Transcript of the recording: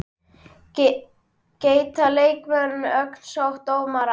Geta leikmenn lögsótt dómara?